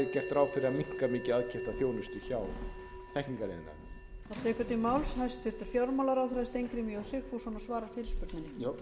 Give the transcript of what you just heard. fróðlegt að vita hvað er gert ráð fyrir að minnka mikið aðkeypta þjónustu hjá þekkingariðnaðinum